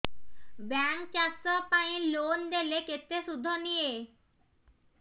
bank ଚାଷ ପାଇଁ loan ଦେଲେ କେତେ ସୁଧ ନିଏ